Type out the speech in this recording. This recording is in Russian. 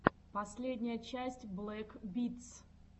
последняя часть блэк битс